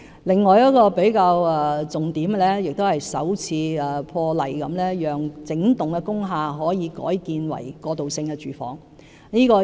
另外一個重點是，政府破例容許整幢工廈改建為過渡性房屋。